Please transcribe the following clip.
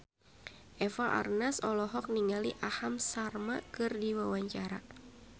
Eva Arnaz olohok ningali Aham Sharma keur diwawancara